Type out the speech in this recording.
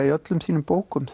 í öllum þínum bókum